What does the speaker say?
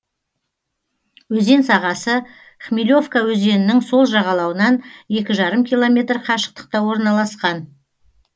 өзен сағасы хмелевка өзенінің сол жағалауынан екі жарым километр қашықтықта орналасқан